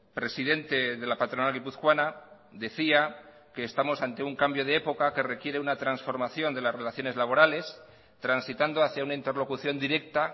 presidente de la patronal guipuzcoana decía que estamos ante un cambio de época que requiere una transformación de las relaciones laborales transitando hacia una interlocución directa